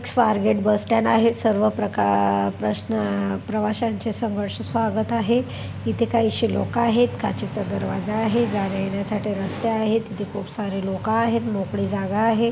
Swargate bus stand आहे सर्व प्रका प्रश्ना प्रवाश्यांचे सहर्ष स्वागत आहे इथे काहीशे लोक आहेत काचेचा दरवाजा आहे जाण्यायेण्यासाठी रस्ते आहेत इथे खुपसारे लोक आहेत मोकळी जागा आहे.